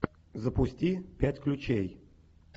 запусти пять ключей